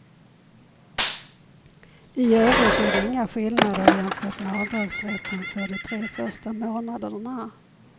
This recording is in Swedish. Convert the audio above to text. I övrigt är det inga skillnader jämfört med avdragsrätten för de tre första månaderna.